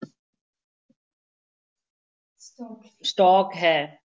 stock ਹੈ।